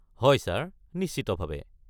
হয়, ছাৰ, নিশ্চিতভাৱে।